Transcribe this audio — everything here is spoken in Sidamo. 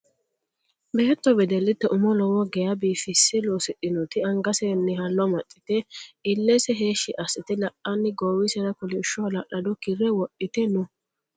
Beetto wedellite umo lowo geyaa biifisse loosidhinoti angasenni hallo amaxxite illese heeshshi assite la'anni goowisera kolishsho hala'lado kirre wodhite no.